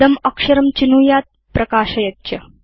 इदम् अक्षरं चिनुयात् प्रकाशयेत् च